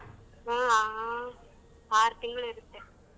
ಹ್ಮ್. ಆಹ್ ಆ~ ಆರ್ ತಿಂಗ್ಳ್ ಇರತ್ತೆ.